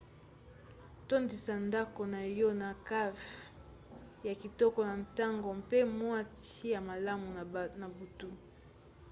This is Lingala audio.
tondisa ndako na yo na kafe ya kitoko na ntongo mpe mwa ti ya malamu na butu